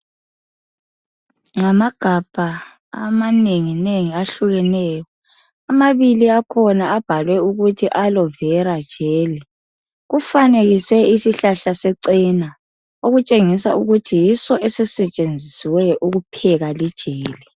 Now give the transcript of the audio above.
namagabha amanenginengi ahlukeneyo amabili akhona abhalwe ukuthi alo vera jelly kufanekiswe isihlahla sechena okutshengisa ukuthi yiso esisetshenzisiweyo ukupheka li jelly